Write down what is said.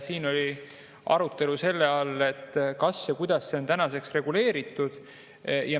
Siin oli arutelu selle üle, kas ja kuidas see on tänaseks reguleeritud.